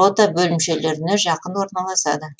рота бөлімшелеріне жақын орналасады